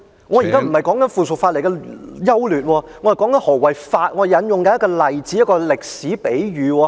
我現在不是說附屬法例的優劣，我是在說何謂法，我正在引用一個例子，一個歷史比喻......